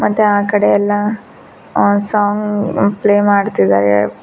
ಮತ್ತೆ ಆ ಕಡೆ ಎಲ್ಲಾ ಆ ಸಾಂಗ್ ಪ್ಲೇ ಮಾಡ್ತಿದ್ದಾರೆ.